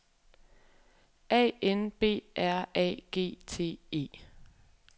A N B R A G T E